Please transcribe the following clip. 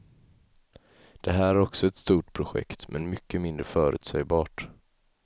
Det här är också ett stort projekt, men mycket mindre förutsägbart.